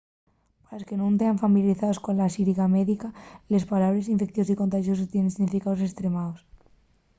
pa los que nun tean familiarizaos cola xíriga médica les pallabres infeiciosu y contaxosu tienen significaos estremaos